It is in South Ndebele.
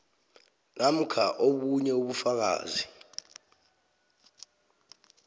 namkha obunye ubufakazi